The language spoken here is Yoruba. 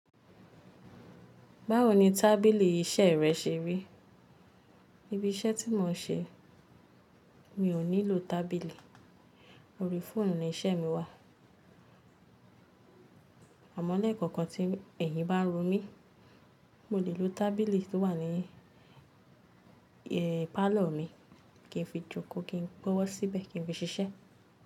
Báwo ni tábìlì iṣẹ́ rẹ ṣe rí? Ibi iṣẹ́ tí mò ń ṣe mi ò nílò tábìlì, orí fóònù ni iṣẹ́ mi wà. Àmọ́ léẹ̀kọ̀kan tí ẹ̀yin bá ro mí, mo lè lo tábìlì tí ó wà ní, ẹ́, pálọ̀ mi kí n fi jókòó kí n gbọ́wó síbẹ̀ kí n fi ṣiṣẹ́